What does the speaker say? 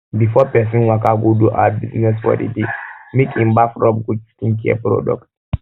before person waka go do our business for di day make in baff rubb good skincare product